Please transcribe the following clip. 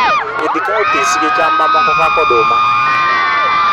pith cowpea gicham mamoko kaka oduma